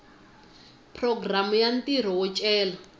programu ya ntirho wo cela